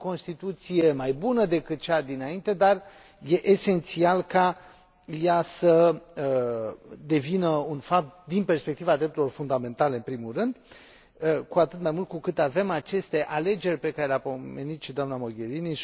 Este o Constituție mai bună decât cea dinainte, dar este esențial ca ea să devină un fapt din perspectiva drepturilor fundamentale, în primul rând, cu atât mai mult cu cât avem aceste alegeri pe care le a pomenit și doamna Mogherini.